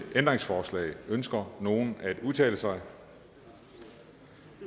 ændringsforslag ønsker nogen at udtale sig